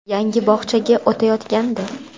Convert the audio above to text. Yangi bog‘chaga o‘tayotgandi.